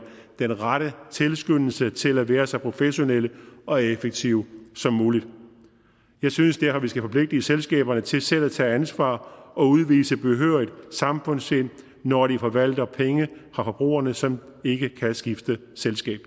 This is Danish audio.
den rette tilskyndelse til at være så professionelle og effektive som muligt jeg synes derfor vi skal forpligte selskaberne til selv at tage ansvar og udvise behørigt samfundssind når de forvalter penge fra forbrugerne som ikke kan skifte selskab